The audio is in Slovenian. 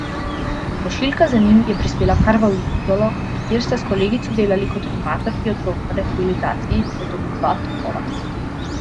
Pošiljka z njim je prispela kar v Izolo, kjer sta s kolegico delali kot animatorki otrok na rehabilitaciji v domu Dva topola.